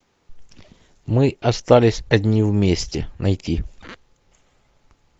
мы остались одни вместе найти